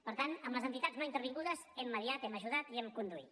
per tant amb les entitats no intervingudes hem mitjançat hem ajudat i hem conduït